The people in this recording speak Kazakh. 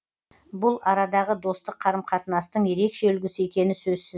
бұл арадағы достық қарым қатынастың ерекше үлгісі екені сөзсіз